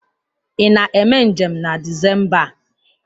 Ị na-eme njem na Disemba a?